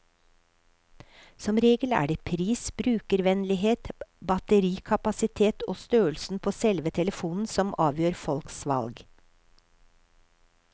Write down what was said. Som regel er det pris, brukervennlighet, batterikapasitet og størrelsen på selve telefonen som avgjør folks valg.